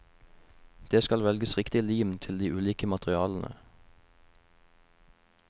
Det skal velges riktig lim til de ulike materialene.